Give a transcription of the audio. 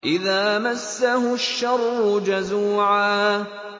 إِذَا مَسَّهُ الشَّرُّ جَزُوعًا